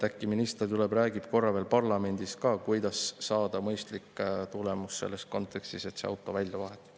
Äkki minister tuleb räägib korra veel parlamendis ka, kuidas saada mõistlik tulemus selles kontekstis, kui see auto välja vahetada.